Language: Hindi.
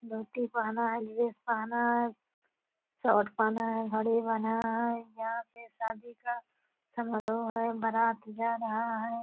धोती पहना है ड्रेस पहना है शॉर्ट पहना है घड़ी पहना है यहाँ पे शादी का समारोह है बारात जा रहा है।